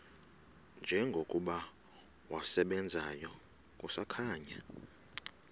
njengokuba wasebenzayo kusakhanya